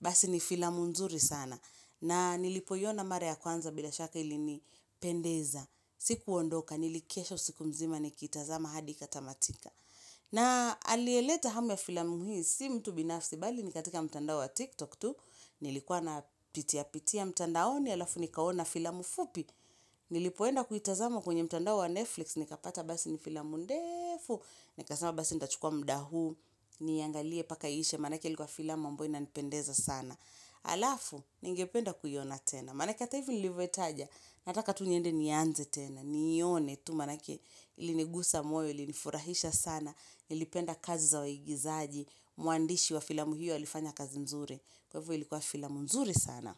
basi ni filamu nzuri sana. Na nilipoiona mara ya kwanza bila shaka ilini pendeza. Sikuondoka, nilikesha usiku mzima nikitazama hadi ikatamatika. Na aliyeleta hamu ya filamu hii, si mtu binafsi bali ni katika mtandao wa TikTok tu. Nilikuwa napitia pitia mtandaoni, alafu nikaona filamu fupi. Nilipoenda kuitazama kwenye mtandao wa Netflix, nikapata basi ni filamu ndefu. Nikasema basi nitachukua muda huu, niangalie mpaka iishe, maanake ilikua filamu ambayo inanipendeza sana. Alafu, ningependa kuiona tena Manake ata hivi nilivyoitaja Nataka tu niende nianze tena Niione tu manake ilinigusa moyo ilinifurahisha sana nilipenda kazi za waigizaji Mwandishi wa filamu hiyo alifanya kazi nzuri Kwa hivyo ilikuwa filamu nzuri sana.